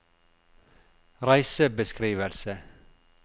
reisebeskrivelse